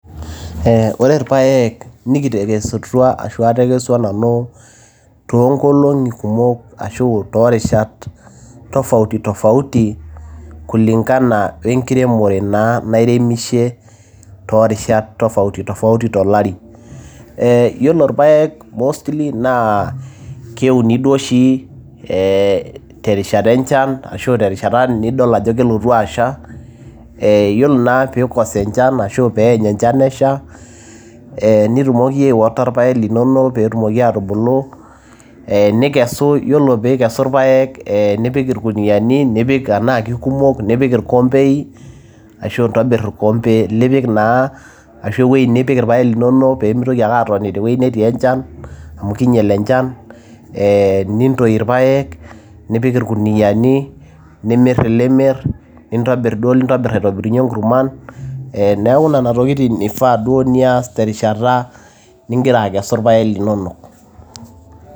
ore irpayek nikitekesutua ashu atekesua nanu toonkolong'i kumok ashu toorishat tofauti tofauti kulingana wenkiremore naa nairemishe naa toorishat tofauti tofauti tolari ee yiolo irpayek mostly naa keuni duo oshi terishata arashu terishata nidol ajo kelotu asha ee yiolo naa pii kosa enchan ashu peeny enchan esha ee nitumoki ae water irpayek linono peetumoki atubulu ee nikesu yiolo piikesu irpayek ee nipiki irkuniani nipik anaa kikumok nipik irkombei ashu intobirr orkompe lipik naa ashu ewueji nipik irpayek linono peemitoki ake atoni tewueji netii enchan amu kinyial enchan ee nintoi irpayek nipik irkuniani nimirr ilimirr, nintobirr duo ilintobirr aitobirunyie inkurman neeku nena tokitin ifaa duo nias terishata ningira akesu irpayek linono.